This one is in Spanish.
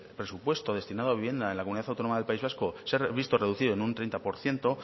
presupuesto destinado a vivienda en la comunidad autónoma del país vasco se ha visto reducido en un treinta por ciento